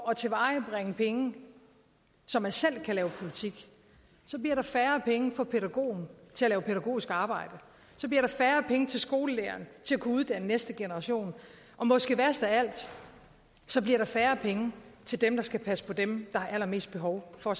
at tilvejebringe penge så man selv kan lave politik så bliver der færre penge for pædagogen til at lave pædagogisk arbejde så bliver der færre penge til skolelæreren til at kunne uddanne næste generation og måske værst af alt så bliver der færre penge til dem der skal passe på dem der har allermest behov for